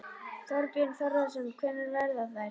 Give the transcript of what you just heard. Þorbjörn Þórðarson: Hvenær verða þær?